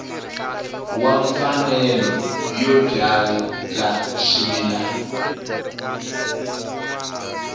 wa mfanelo yo byala swimila